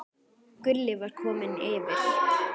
Gulli var kominn yfir.